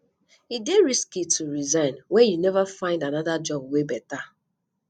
e dey risky to resign wen you neva find anoda job wey beta